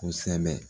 Kosɛbɛ